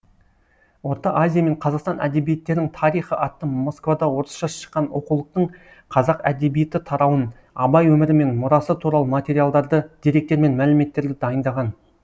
орта азия мен қазақстан әдебиеттерін тарихы атты москвада орысша шыққан оқулықтың қазақ әдебиеті тарауын абай өмірі мен мұрасы туралы материалдарды деректер мен мәліметтерді дайындаған